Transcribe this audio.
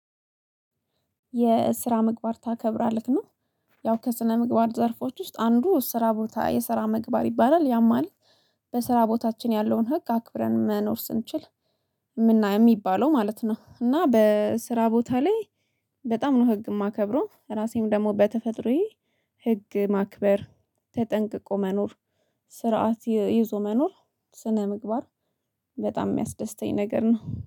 የስራ ምግባር ታከብራለህ? ነው። ያው ከስነ ምግባር ዘርፎች ውስጥ አንዱ ስራ ቦታ የስራ መግባት ይባላል። ያማል በስራ ቦታችን ያለውን ህግ አክብረን መኖር ስንችል የምናየው የሚባለው ማለት ነው። እና በስራ ቦታ ላይ በጣም ነው ህግ የማከብረው። ራሴም ደግሞ በተፈጥሮዬ ህግ ማክበር ተጠንቅቆ መኖር ስርዓት ይዞ መኖር ስነ ምግባር በጣም የሚያስደስተኝ ነገር ነው።